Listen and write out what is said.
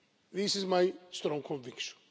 This is my strong conviction.